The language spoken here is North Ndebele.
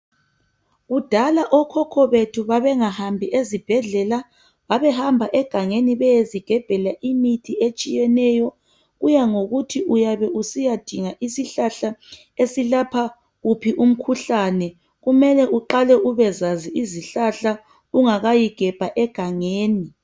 Kudala okhokho bethu babengahambi ezibhedlela. Babehamba egangeni bryezigebhela imithi etshiyeneyo. Kuya ngokuthi uyabe usiyadinga izihlahla esilapha uphi umkhuhlane. Kumele uqale ubezazi izihlahla ungakayi gebha egangeni.